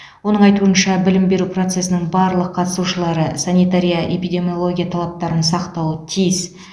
оның айтуынша білім беру процесінің барлық қатысушылары санитария эпидемиология талаптарын сақтауы тиіс